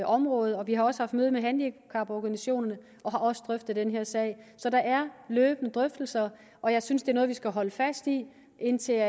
område og vi har også haft møde med handicaporganisationerne og har også drøftet den her sag så der er løbende drøftelser og jeg synes det er noget vi skal holde fast i indtil